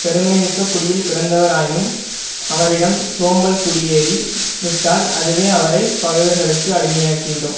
பெருமைமிக்க குடியில் பிறந்தவராயினும் அவரிடம் சோம்பல் குடியேறி விட்டால் அதுவே அவரை பகைவர்களுக்கு அடிமையாக்கிவிடும்